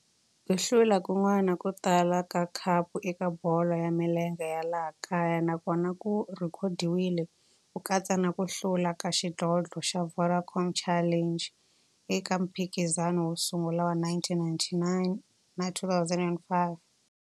Ku hlula kun'wana ko tala ka khapu eka bolo ya milenge ya laha kaya na kona ku rhekhodiwile, ku katsa na ku hlula ka xidlodlo xa Vodacom Challenge eka mphikizano wo sungula wa 1999 na 2005.